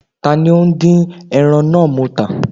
Ta ni ó ńdín ẹran náà mọ́ ata?